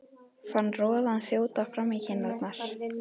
Fann roðann þjóta fram í kinnarnar.